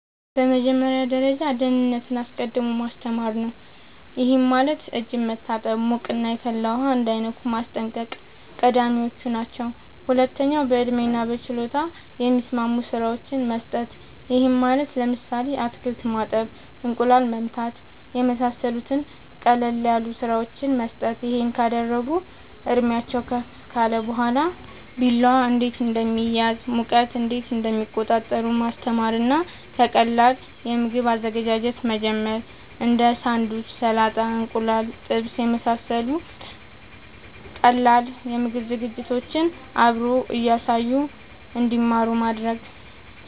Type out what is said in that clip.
በመጀመሪያ ደረጃ ደህንነትን አስቀድሞ ማስተማር ነዉ ይሄም ማለት እጅን መታጠብ ሙቅና የፈላ ውሃ እንዳይነኩ ማስጠንቀቅ ቀዳሚወች ናቸው ሁለተኛ በእድሜና በችሎታ የሚስማሙ ስራወችን መስጠት ይሄም ማለት ለምሳሌ አትክልት ማጠብ እንቁላል መምታት የመሳሰሉት ቀለል ያሉ ስራወችን መስጠት ይሄን ካደረጉ እድሜአቸውም ከፍ ካለ በኋላ ቢላዋ እንዴት እንደሚያዝ ሙቀት እንዴት እንደሚቆጣጠሩ ማስተማር እና ከቀላል የምግብ አዘገጃጀት መጀመር እንዴ ሳንዱች ሰላጣ እንቁላል ጥብስ የመሳሰሉት ቀላል የምግብ ዝግጅቶችን አብሮ እያሳዩ እንድማሩ ማድረግ